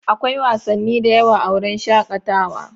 Akwai wasanni da yawa a wurin shakatawa.